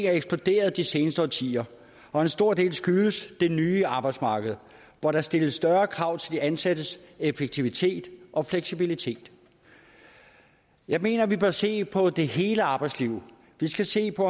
er eksploderet de seneste årtier og en stor del skyldes det nye arbejdsmarked hvor der stilles større krav til de ansattes effektivitet og fleksibilitet jeg mener vi bør se på det hele arbejdsliv vi skal se på